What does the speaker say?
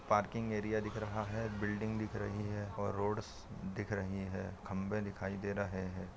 parking area दिख रहा है बिल्डिंग दिख रही है रोड दिख रही है और खम्बे दिखाई दे रहे है|